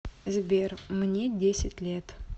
сбер мне десять лет